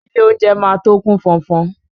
Ilé oúnjẹ máa tó kú fọ́nfọ́n.